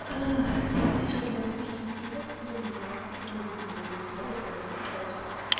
сейчас бы это пришлось выпрямлять всё время я не люблю сжечь волосы я даже пытаюсь